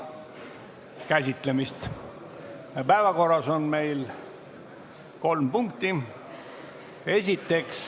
Kuulge!